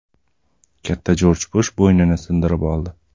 Katta Jorj Bush bo‘ynini sindirib oldi.